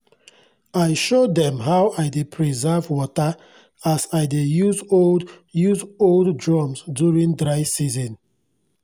i show dem how i dey preserve wata as i dey use old use old drums during dry season